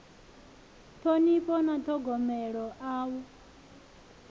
ṱhonifho na ṱhogomelo a hu